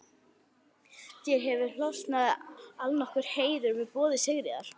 Þér hefur hlotnast allnokkur heiður með boði Sigríðar